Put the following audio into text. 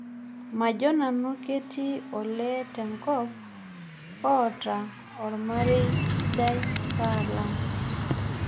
Majoo nanu ketii olee tenkop oota ormaerei sidai paalang'